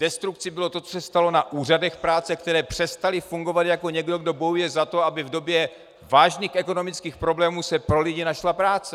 Destrukcí bylo to, co se stalo na úřadech práce, které přestaly fungovat jako někdo, kdo bojuje za to, aby v době vážných ekonomických problémů se pro lidi našla práce.